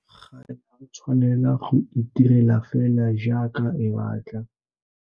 Tirelopuso ga ya tshwanela go itirela fela jaaka e batla.